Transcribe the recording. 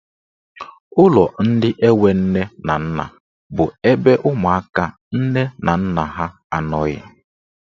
Ụlọ ndị enwe nne na nna bụ ebe ụmụaka nne na nna ha anọghị.